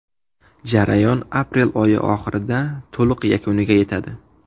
Jarayon aprel oyi oxirida to‘liq yakuniga yetadi.